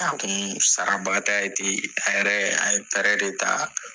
A kun sara ba t'a ye ten, a yɛrɛ a ye de ta.